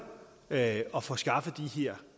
at at få skaffet de her